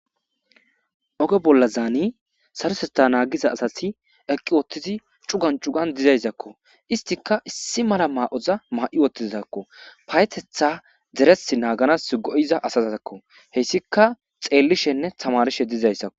Oge bolazan saroteththa nagiza asati utidi cugan cugan dizayssakko isetikka issi mala Mayoza mayi utizakko payateththa ders naganas go'iza asatakko hesika xelishshene tamarishshe dizayssakko